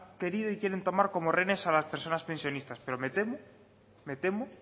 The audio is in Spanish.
querido y quieren tomar como rehenes a las personas pensionistas pero me temo me temo